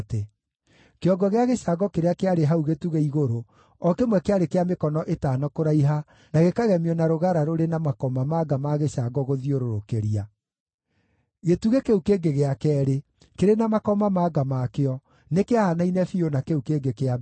Kĩongo gĩa gĩcango kĩrĩa kĩarĩ hau gĩtugĩ-igũrũ, o kĩmwe kĩarĩ kĩa mĩkono ĩtano kũraiha, na gĩkagemio na rũgara rũrĩ na makomamanga ma gĩcango gũthiũrũrũkĩria. Gĩtugĩ kĩu kĩngĩ gĩa keerĩ, kĩrĩ na makomamanga makĩo nĩkĩahaanaine biũ na kĩu kĩngĩ kĩa mbere.